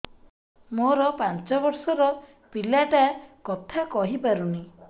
ମୋର ପାଞ୍ଚ ଵର୍ଷ ର ପିଲା ଟା କଥା କହି ପାରୁନି